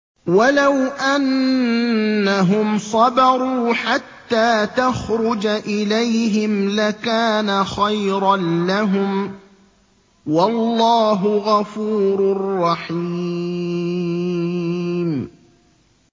وَلَوْ أَنَّهُمْ صَبَرُوا حَتَّىٰ تَخْرُجَ إِلَيْهِمْ لَكَانَ خَيْرًا لَّهُمْ ۚ وَاللَّهُ غَفُورٌ رَّحِيمٌ